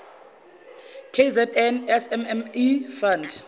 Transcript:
kzn smme fund